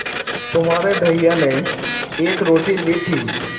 तुम्हारे भैया ने एक रोटी ली थी